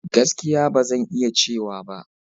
Gaskiya! Ba zan iya cewa ba.